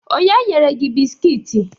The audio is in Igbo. Onye nyere gi bisikiiti?